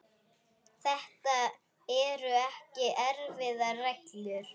Þetta eru ekki erfiðar reglur.